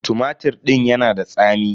Tumatir din ya na da tsami.